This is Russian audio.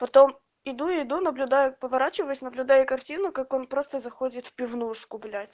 потом иду иду наблюдаю поворачиваюсь наблюдаю картину как он просто заходит в пивнушку блять